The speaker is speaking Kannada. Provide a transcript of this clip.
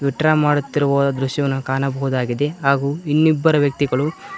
ವಿತ್ಡ್ರಾ ಮಾಡುತ್ತಿರುವ ದೃಶ್ಯವನ್ನು ಕಾಣಬಹುದಾಗಿದೆ ಹಾಗು ಇನ್ನಿಬ್ಬರು ವ್ಯಕ್ತಿಗಳು--